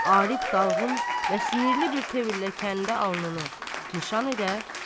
Arif dalğın və sinirli bir təvirlə kəndi alnını nişan edər.